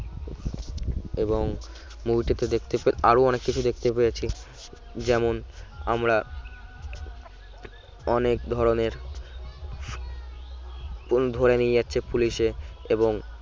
এবং movie টিতে দেখতে আরো অনেক কিছু দেখতে পেয়েছি যেমন আমরা অনেক ধরনের ধরে নিয়ে যাচ্ছে পুলিশে